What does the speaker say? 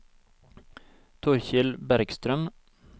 Torkel Bergstrøm